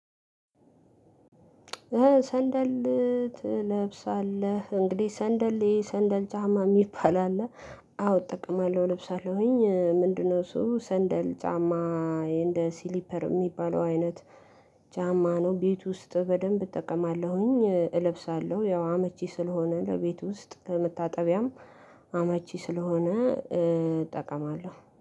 ሰንደል ትለብሳለህ እንግዲህ ሰንደል ሰንደል ጫማ የሚባል አለ አዎ እጠቅማለሁ እልብሳለሁኝ። ምንድነው? እሱ ሰንደል ጫማ እንደ ሲሊፐር የሚባለው አይነት ጫማ ነው። ቤት ውስጥ በደንብ እጠቀማለሁኝ እለብሳለሁ ያው አመቺ ስለሆነ ለቤት ውስጥ ለመታጠቢያም አመቺ ስለሆነ እጠቀማለሁ